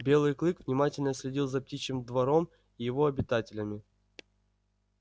белый клык внимательно следил за птичьим двором и его обитателями